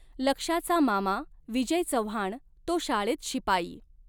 लक्ष्याचा मामा विजय चव्हाण तो शाळेत शिपाई.